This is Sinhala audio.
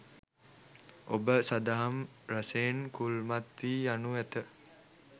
ඔබ සදහම් රසයෙන් කුල්මත් වී යනු ඇත